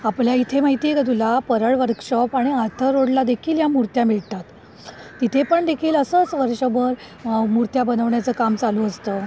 आपल्या इथे माहिती का तुला परळ वर्कशॉप आणि आर्थर रोड ला देखील या मूर्त्या मिळतात. तिथे पण देखील असंच वर्षभर मूर्त्या बनवण्याचं काम चालू असतं.